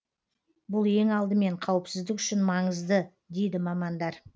бұл ең алдымен қауіпсіздік үшін маңызды дейді мамандар